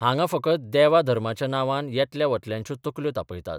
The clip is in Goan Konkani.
हांगां फकत देवा धर्माच्या नांवान येतल्या वतल्यांच्यो तकल्यो तापयतात.